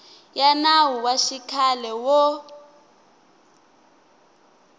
ya nawu wa xikhale wo